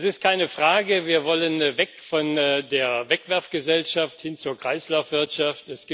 Es ist keine Frage Wir wollen weg von der Wegwerfgesellschaft hin zur Kreislaufwirtschaft.